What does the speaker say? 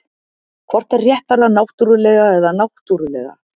hvort er réttara náttúrlega eða náttúrulega